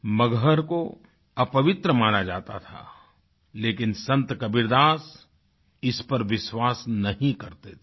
मगहर को अपवित्र माना जाता था लेकिन संत कबीरदास इस पर विश्वास नहीं करते थे